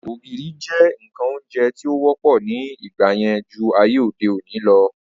Ògìrì jẹ́ ǹkan oúnjẹ tí ó wọ́pọ̀ ní ìgbà yẹn ju ayé òde òni lọ